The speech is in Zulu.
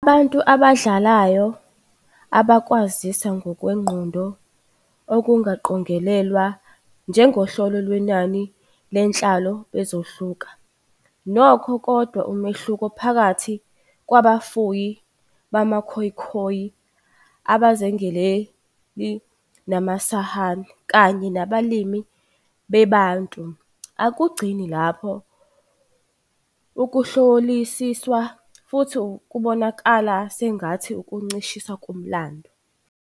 Abantu abadlayo abakwazisa ngokwengqondo ukungaqongelelwa njengohlelo lwenani lenhlalo bazohluka, nokho, kodwa umehluko phakathi "kwabafuyi bamaKhoekhoe", "abazingeli bamaSan" kanye " nabalimi beBantu" akugcini lapho ukuhlolisiswa, futhi kubonakala sengathi ukuncishiswa komlando.